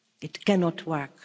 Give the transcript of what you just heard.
it cannot work